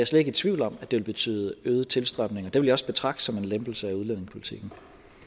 slet ikke i tvivl om at det vil betyde øget tilstrømning og det vil jeg også betragte som en lempelse af udlændingepolitikken